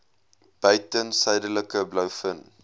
buiten suidelike blouvin